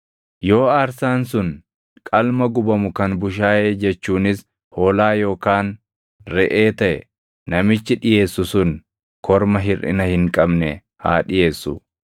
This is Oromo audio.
“ ‘Yoo aarsaan sun qalma gubamu kan bushaayee jechuunis hoolaa yookaan reʼee taʼe namichi dhiʼeessu sun korma hirʼina hin qabne haa dhiʼeessu.